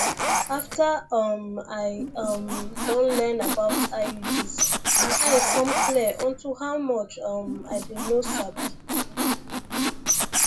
after um i um don learn about iuds my eye come clear unto how much um i been no sabi